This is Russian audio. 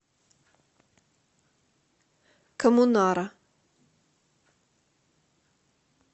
коммунара